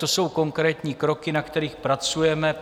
To jsou konkrétní kroky, na kterých pracujeme.